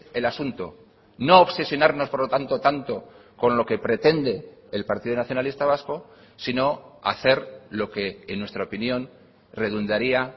el asunto no obsesionarnos por lo tanto tanto con lo que pretende el partido nacionalista vasco sino hacer lo que en nuestra opinión redundaría